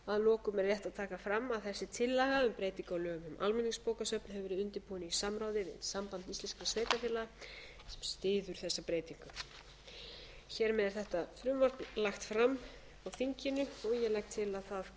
að lokum er rétt að taka fram að þessi tillaga um breytingu á lögum um almenningsbókasöfn hefur verið undirbúin í samráði við samband íslenskra sveitarfélaga sem styður þessa breytingu hér með er þetta frumvarp lagt fram á þinginu ég legg